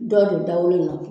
Dɔw be o dagolo nɔ kɛ